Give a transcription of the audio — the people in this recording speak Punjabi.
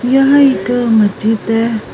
ਯਹਾਂ ਇੱਕ ਮਸਜਿਦ ਹੈ।